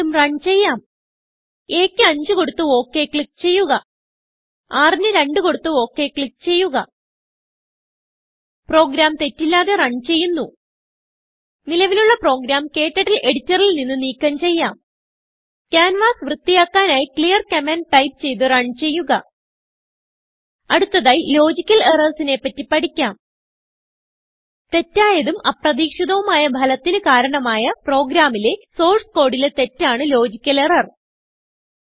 വീണ്ടും റൺ ചെയ്യാം a ക്ക് 5കൊടുത്ത് ഒക് ക്ലിക്ക് ചെയ്യുക rന് 2കൊടുത്ത് ഒക് ക്ലിക്ക് ചെയ്യുക പ്രോഗ്രാം തെറ്റില്ലാതെ റൺ ചെയ്യുന്നു നിലവിലുള്ള പ്രോഗ്രാം KTurtleഎഡിറ്ററിൽ നിന്ന് നീക്കം ചെയ്യാം ക്യാൻവാസ് വൃത്തിയാക്കാനായി clearകമാൻഡ് ടൈപ്പ് ചെയ്ത് റണ് ചെയ്യുക അടുത്തതായി ലോജിക്കൽ errorsനെ പറ്റി പഠിക്കാം തെറ്റായതും അപ്രതീക്ഷിതവുമായ ഭലത്തിന് കാരണമായ പ്രോഗ്രാമിലെ സോർസ് കോഡ് ലെ തെറ്റാണ് ലോജിക്കൽ എറർ